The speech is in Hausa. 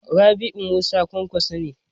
Rabi Musa Kwankwaso ne.